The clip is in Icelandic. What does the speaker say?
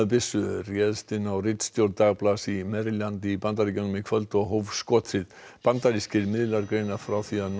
byssumaður réðist inn á ritstjórn dagblaðs í Maryland í Bandaríkjunum í kvöld og hóf skothríð bandarískir miðlar greina frá því að